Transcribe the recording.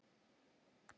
Ljósið í myrkrinu!